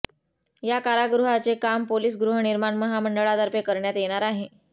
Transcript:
या कारागृहाचे काम पोलिस गृहनिर्माण महामंडळातर्फे करण्यात येणार आहे